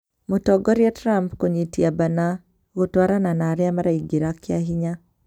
Mũtongoria Trump kũnyitia bana, gũtwarana na arĩa maraingĩra kĩahinya